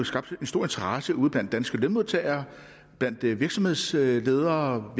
skabt en stor interesse ude blandt danske lønmodtagere blandt virksomhedsledere og